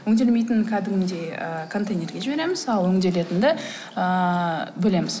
өңделмейтін кәдімгідей ы контейнерге жібереміз ал өңделетінді ыыы бөлеміз